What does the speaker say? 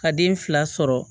Ka den fila sɔrɔ